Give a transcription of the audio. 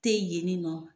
Te yen yen nɔ